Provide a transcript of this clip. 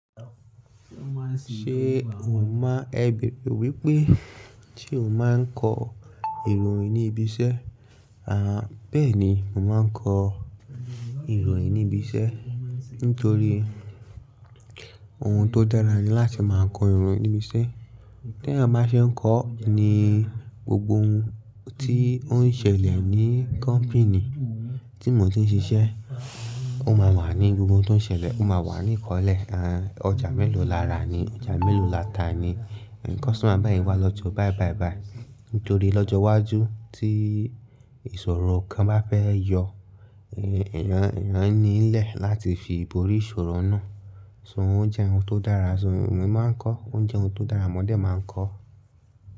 Ṣé o mọ, ẹ bèbè wípé tí o máa ń kọ ìròyìn ní ibi iṣẹ́? Aà bẹ́ẹ̀ni, mo máa ń kọ ìròyìn ní ibi iṣẹ́. Nítorí ohun tó dára ni láti máa kọ ìròyìn níbi iṣẹ́. Tí ẹ bá ṣe ń kọ ni gbogbo ohun tí ó ń ṣẹlẹ̀ ní company tí mo ti ń ṣiṣẹ́, ó máa wà ní gbogbo ohun tó ń ṣẹlẹ̀, ó máa wà ní ìkọ́lẹ̀. Aà ọjà mélòó lára ni, ọjà mélòó láta ni. Customer báyìí wá lọ́jọ́ báì báì báì. Nítorí lọ́jọ́ iwájú tí ìṣòro kan bá fẹ́ yọ, èèyàn, èèyàn nílẹ̀ láti fi borí ìṣòro náà. So oun jẹ́ ohun tó dára, so emi máa ń kọ, oun jẹ́ ohun tó dára mọ dẹ̀ máa ń kọ.